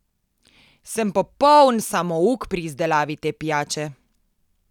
Sem popoln samouk pri izdelavi te pijače.